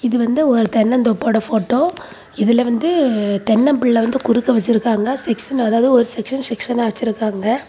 இது வந்து ஒரு தென்னந்தோப்போட போட்டோ இதுல வந்து தென்னம்பிள்ளை வந்து குறுக்க வச்சிருக்காங்க செக்ஷன் அதாவது ஒரு செக்ஷன் செக்ஷனா வச்சிருக்காங்க.